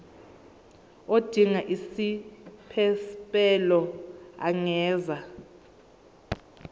odinga isiphesphelo angenza